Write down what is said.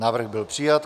Návrh byl přijat.